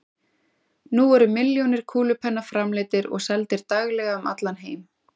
Nú eru milljónir kúlupenna framleiddir og seldir daglega um allan heim.